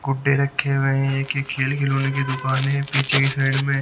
गुड्डे रखे हुए हैं एक ये खेल खिलोने की दुकान है पीछे की साइड में।